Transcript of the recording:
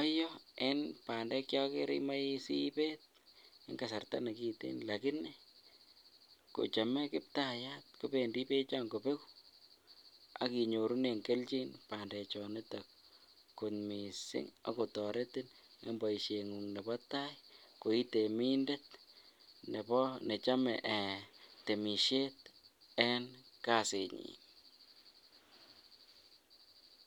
oyoo en bandek chekokere imoe sibeet en kasarta nekiten lakini kochome kiptayat kobendi bechon kobeku ak inyorunen kelchin bandechon iton kot mising akotoretin en boishengung nebo taai ko ii temindet nebo nechome temisiet en kasinyin.